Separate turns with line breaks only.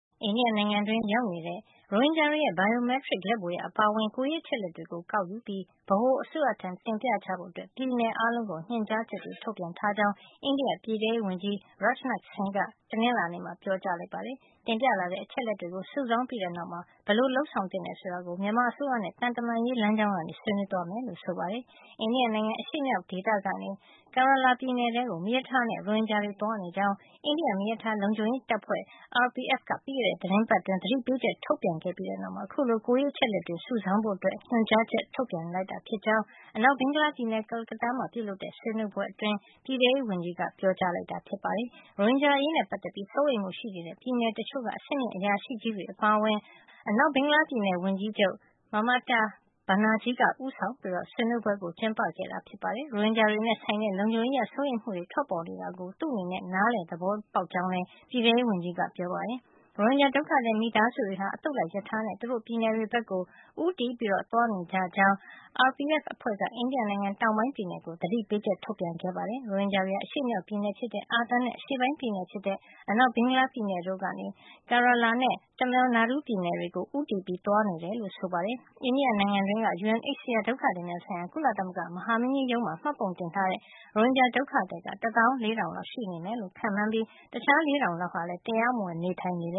အိန္ဒိယနိုင်ငံအတွင်း ရောက်နေကြတဲ့ ရိုဟင်ဂျာတွေရဲ့ Biometric လက်ဗွေရာ အပါအဝင် ကိုယ်ရေးအချက်အလက်တွေကို ကောက်ယူပြီး ဗဟိုအစိုးရထံ တင်ပြကြဖို့ ပြည်နယ်အားလုံးကို ညွန်ကြားချက် ထုတ်ပြန်ထားကြောင်း အိန္ဒိယပြည်ထဲရေးဝန်ကြီး Rajnath Singh က တနင်္လာနေ့မှာ ပြောကြားလိုက်ပါတယ်။ တင်ပြလာတဲ့ အချက်အလက်တွေကို စုဆောင်းပြီးတဲ့နောက်မှာ ဘယ်လို လုပ်ဆောင်သင့်တယ် ဆိုတာကို မြန်မာအစိုးရနဲ့ သံတမန်ရေး လမ်းကြောင်းကနေ ဆွေးနွေးသွားမယ်လို့ဆိုပါတယ်။ အိန္ဒိယနိုင်ငံ၊ အရှေ့မြောက်ဒေသကနေ Kerala ပြည်နယ်ထဲကို မီးရထားတဲ့ ရိုဟင်ဂျာတွေ သွားနေကြောင်း အိန္ဒိယ မီးရထား လုံခြုံရေးတပ်ဖွဲ့ RPF က ပြီးခဲ့တဲ့ သီပတ်အတွင်း သတိပေးချက် ထုတ်ပြန်ပြီးတဲ့နောက်မှာ အခုလို ကိုယ်ရေးအချက်အလက်တွေ စုဆောင်းဖို့ ညွန်ကြားချက် ထုတ်ပြန်လိုက်တာ ဖြစ်ကြောင်း အနောက်ဘင်္ဂလားပြည်နယ်၊ ကာလကတ္တားမြို့မှာ ပြုလုပ်တဲ့ ဆွေးနွေးပွဲအတွင်း ပြည်ထဲရေးဝန်ကြီးက အဲဒီလို ပြောကြားလိုက်တာပါ။ ရိုဟင်ဂျာတွေအရေးနဲ့ပတ်သက်လို့ စိုးရိမ်မှုရှိနေတဲ့ ပြည်နယ်တချို့က အဆင့်မြင့် အရာရှိကြီးတွေအပါအဝင် ဗဟိုအစိုးရ ပြည်ထဲရေးကြီးတို့ကို အနောက်ဘင်္ဂလားပြည်နယ် ဝန်ကြီးချုပ် Mamata Banerjee က ဦးဆောင်ပြီး ဆွေးနွေးပွဲ ကျင်းပခဲ့တာပါ။ ရိုဟင်ဂျာတွေနဲ့ဆိုင်တဲ့ လုံခြုံရေးအရ စိုးရိမ်မှု ထွက်ပေါ်နေတာကို သူ့အနေနဲ့ နားလည် သဘောပေါက်ကြောင်းလည်း ပြည်ထဲရေးဝန်ကြီးက ပြောပါတယ်။ ရိုဟင်ဂျာ ဒုက္ခသည် မိသားစုတွေဟာ အသုတ်လိုက် ရထားနဲ့ သူတို့ပြည်နယ်တွေဘက်ကို ဦးတည် သွားနေကြကြောင်း RPF အဖွဲ့က အိန္ဒိယနိုင်ငံတောင်ပိုင်း ပြည်နယ်ကို သတိပေးချက် ထုတ်ပြန်ခဲ့ပါတယ်။ ရိုဟင်ဂျာတွေဟာ အရှေ့မြောက်ပြည်နယ်ဖြစ်တဲ့ အာသံနဲ့ အရှေ့ပိုင်း ပြည်နယ်ဖြစ်တဲ့ အနောက်ဘင်္ဂလားပြည်နယ်တို့ကနေ Kerala နဲ့ Tamil Nadu ပြည်နယ်တွေကို ဦးတည်သွားနေတယ်လို့ ဆိုပါတယ်။ အိန္ဒိယနိုင်ငံအတွင်းက UNHCR ဒုက္ခသည်များဆိုင်ရာ ကုသလမဂ္ဂ မဟာမင်းကြီးရုံးမှာ မှတ်ပုံတင်ထားတဲ့ ရိုဟင်ဂျာ ဒုက္ခသည် ၁၄,၀၀၀ လောက်ရှိနေတယ်လို့ ခန့်မှန်းထားကြပြီး တခြား ၄,၀၀၀ လောက်ဟာလည်း တရားမဝင် နေထိုင်နေကြတယ်